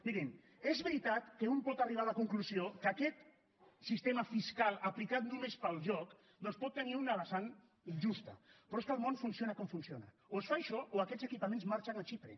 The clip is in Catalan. mirin és veritat que un pot arribar a la conclusió que aquest sistema fiscal aplicat només per al joc doncs pot tenir una vessant injusta però és que el món funciona com funciona o es fa això o aquests equipaments marxen a xipre